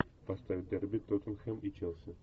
поставь дерби тоттенхэм и челси